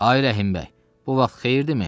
Ay Rəhim bəy, bu vaxt xeyirdirmi?